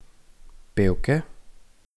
Pevke?